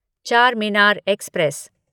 Charminar express